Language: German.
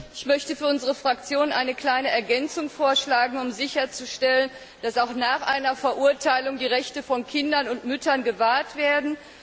Ich möchte für unsere Fraktion eine kleine Ergänzung vorschlagen, um sicherzustellen, dass auch nach einer Verurteilung die Rechte von Kindern und Müttern gewahrt werden.